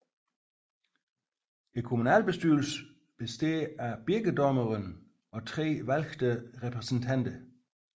Communalbestyrelsen bestaar af Birkedommeren og 3 valgte Repræsentanter